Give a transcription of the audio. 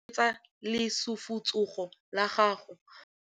Letsogo le lekhutshwane le khurumetsa lesufutsogo la gago.